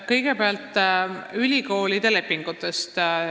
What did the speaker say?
Kõigepealt ülikoolide lepingutest.